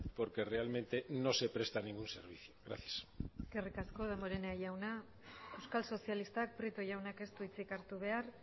porque realmente no se prestan ningún servicio gracias eskerrik asko damborenea jauna euskal sozialistak prieto jaunak ez du hitzik hartu behar